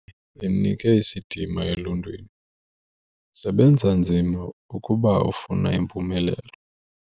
Impumelelo yakhe imnike isidima eluntwini. sebenza nzima ukuba ufuna impumelelo